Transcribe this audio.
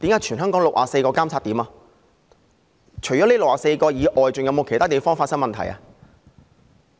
除了這64個監測點外，還有否其他地方發生問題？